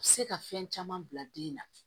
Se ka fɛn caman bila den na